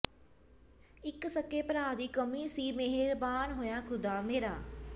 ਇੱਕ ਸਕੇ ਭਰਾ ਦੀ ਕਮੀ ਸੀ ਮੇਹਰਬਾਨ ਹੋਇਆ ਖ਼ੁਦਾ ਮੇਰਾ